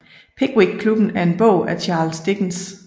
Pickwick Klubben er en bog af Charles Dickens